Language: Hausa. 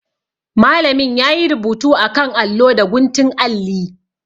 Malamin ya yi rubutu a kan allo da guntun alli.